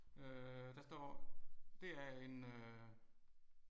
Øh der står. Det er en øh